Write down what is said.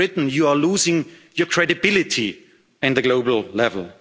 signed. Great Britain, you are losing your credibility on the global